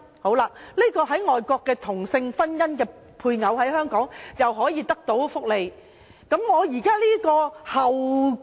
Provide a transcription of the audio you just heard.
這位在外國註冊的同性婚姻的配偶，在香港可享受福利嗎？